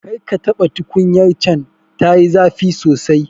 Karka taɓa tukunyar can, tayi zafi sosai.